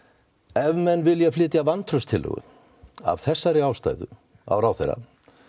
ef menn vilja flytja vantrauststillögu af þessari ástæðu á ráðherrann